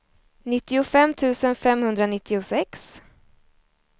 nittiofem tusen femhundranittiosex